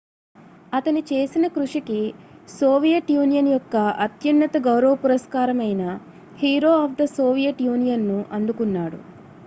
"అతను చేసిన కృషికి సోవియట్ యూనియన్ యొక్క అత్యున్నత గౌరవ పురస్కారం అయిన "hero of the Soviet Union" ను అందుకున్నాడు.